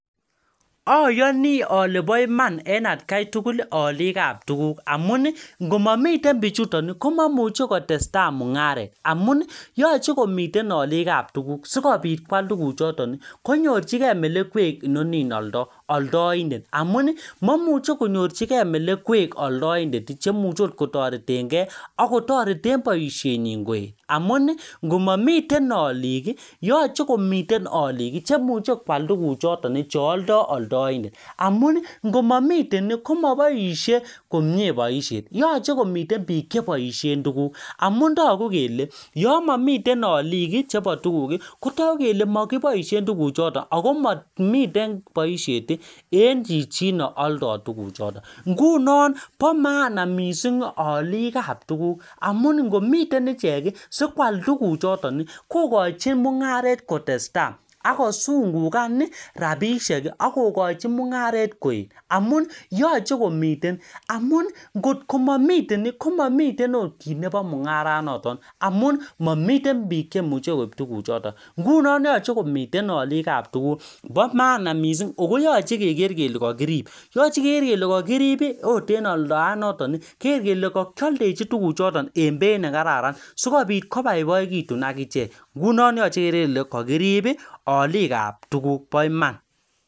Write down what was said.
Ayani ale po iman en atkai tugul alikap tuguk. Amun ngomamiten pichuton, komamuche kotestai mung'aret. Amun, yache komiten alikap tuguk. Sikobit kwaal tuguk choton. Konyorchikei melekwek inonin aldoi, aldaindet. Amun, mamuchi konyorchikei melekwek aldaindet, chemuchi angot kotoretenkey, akotorete boisien nyi koi. Amun, ngomamiten alik, yache komiten alik, chemuche kwal tugun chuton, che aldoi aldaindet. Amun, ngomamiten komaboisie komyee boisiet. Yache komiten biik che boisien tuguk. Amu togu kele, yamamiten alik chebo tuguk, kotau kele makiboisien tuguk choton. Akomamiten boisiet eng chichin aldoi tugun chuto. Ngunon po maana missing alikap tuguk. Amun ngomiten ichek, sikwal tuguk choton, kokochin mung'aret kotestai. Akosukungan rabisiek, akokochi mung'aret koet. Amun yache komiten. Amun ngotko mamiten, komamiten akot kiy nebo mung'arat noton. Amun, mamiten biik chemuche koip tuguk choton. Ngunon yache komiten alikap tugul. Po maana missing. Ko koyache keker kole kakirip. Yache keker kele kakirip, akot en aldaet noton. Keker kole kakialdechin tugun choton en beit ne kararan. Sikobit koboiboigitun akichek. Ngunon yache iker ele kakirip alikap tuguk, po iman.